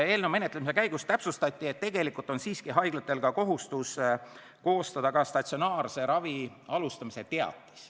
Eelnõu menetlemise käigus täpsustati, et tegelikult on haiglatel siiski ka kohustus koostada statsionaarse ravi alustamise teatis.